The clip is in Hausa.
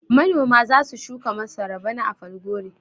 Manoma za su shuka masara bana a Falgore.